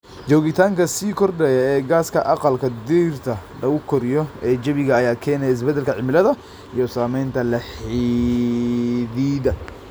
Joogitaanka sii kordhaya ee gaaska aqalka dhirta lagu koriyo ee jawiga ayaa keenaya isbeddelka cimilada iyo saamaynta la xidhiidha.